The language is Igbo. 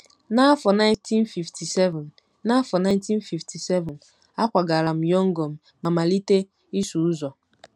N’afọ 1957, N’afọ 1957, akwagara m Yọngọn ma malite ịsụ ụzọ.